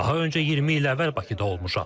Daha öncə 20 il əvvəl Bakıda olmuşam.